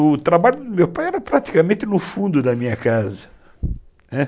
O trabalho do meu pai era praticamente no fundo da minha casa, né.